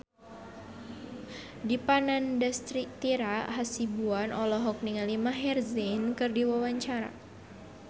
Dipa Nandastyra Hasibuan olohok ningali Maher Zein keur diwawancara